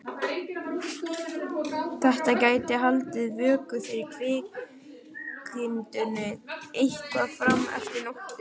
Þetta gæti haldið vöku fyrir kvikindinu eitthvað fram eftir nóttu.